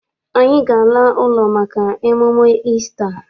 Anyị ga- ala ụlọ maka emume Isita.